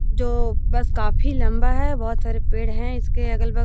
जो बस काफी लम्बा है बहुत सारे पेड़ हैं इसके अगल बगल --